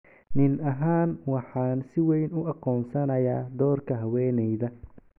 " Nin ahaan waxaan si weyn u aqoonsanayaa doorka haweeneyda.